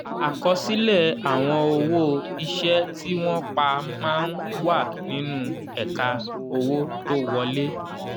àkọsílẹ àwọn owó iṣẹ́ tí wọ́n pà má n wà nínú ẹ̀ka owó tó wọlé.